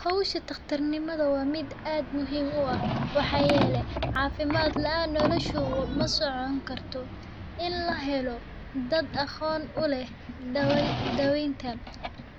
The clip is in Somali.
Howshan waa mid aad muhiim u ah waxaa yeele cafimaad kaan nolosha masocon karto